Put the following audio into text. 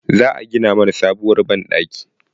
Za a gina mana sabuwar banɗaki.